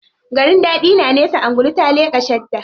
Garin daɗi na nesa, angulu ta leƙa shadda.